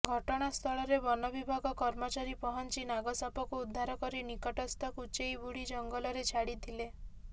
ଘଟଣା ସ୍ଥଳରେ ବନବିଭାଗ କର୍ମଚାରୀ ପହଞ୍ଚି ନାଗସାପକୁ ଉଦ୍ଧାର କରି ନିକଟସ୍ଥ କୁଚେଇବୁଢୀ ଜଙ୍ଗଲରେ ଛାଡିଥିଲେ